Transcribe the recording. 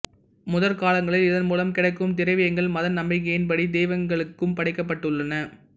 முற்காலங்களில் இதன் மூலம் கிடைக்கும் திரவியங்கள் மத நம்பிக்கையின்படி தெய்வங்களுக்கும் படைக்கப்பட்டுள்ளன